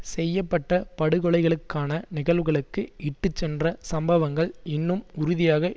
செய்ய பட்ட படுகொலைகளுக்கான நிகழ்வுகளுக்கு இட்டுச்சென்ற சம்பவங்கள் இன்னும் உறுதியாக